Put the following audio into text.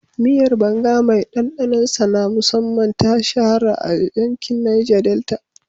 Miyar banga mai ɗanɗanon sa na musamman, ta shahara a yankin Neja Delta